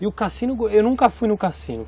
E o cassino, eu nunca fui no cassino.